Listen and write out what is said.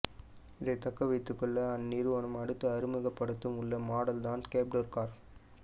இதை தக்கவைத்துக்கொள்ள அந்நிறுவனம் அடுத்து அறிமுகப்படுத்த உள்ள மாடல் தான் கேப்டூர் கார்